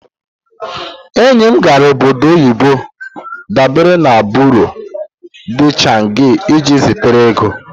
Enyi m gara obodo oyibo dabere na Buro de chanji iji zitere ego.